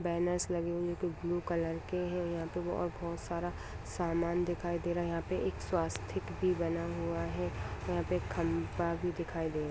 banners लगे हुए ये कोई ब्लू कलर के हैं यहाँ पे बहो और बहोत सारा सामान दिखाई दे रहा है यहाँ पे एक स्वास्तिक भी बना हुआ है यहाँ पे खंभा भी दिखाई दे --